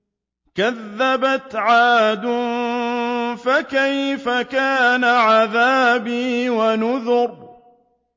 كَذَّبَتْ عَادٌ فَكَيْفَ كَانَ عَذَابِي وَنُذُرِ